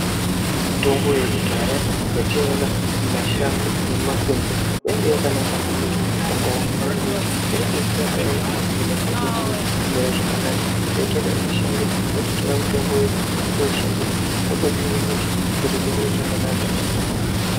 Mitombo yekudhaya yationa mumashango nemumakwenzi, yainge yakanaka maningi pandaramo yedu ngekuti yaidetsera payani zviro pazvinenge zvisina kumira zvakanaka mwotoenda mumashango, mwototora mitombo yenyu mwotoishandisa, mwotohine hosha mwotoite zviro zvakanaka.